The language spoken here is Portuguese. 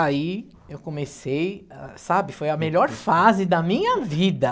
Aí, eu comecei, ah, sabe, foi a melhor fase da minha vida.